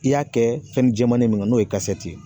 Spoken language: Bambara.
I y'a kɛ fɛn jɛmanni min n'o ye ye